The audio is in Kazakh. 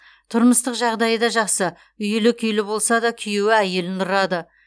тұрмыстық жағдайы да жақсы үйлі күйлі болса да күйеуі әйелін ұрады